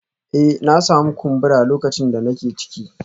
Eh na sami kumbura lokacin da nake ciki